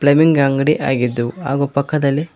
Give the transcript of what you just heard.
ಲೆಮಿಂಗ್ ಅಂಗಡಿ ಆಗಿದ್ದು ಹಾಗೂ ಪಕ್ಕದಲ್ಲಿ--